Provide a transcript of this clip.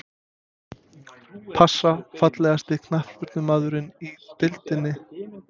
Pass Fallegasti knattspyrnumaðurinn í deildinni?